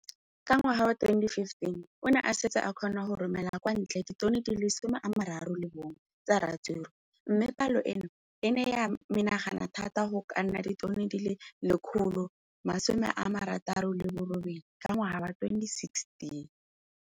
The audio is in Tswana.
Ka ngwaga wa 2015, o ne a setse a kgona go romela kwa ntle ditone di le 31 tsa ratsuru mme palo eno e ne ya menagana thata go ka nna ditone di le 168 ka ngwaga wa 2016.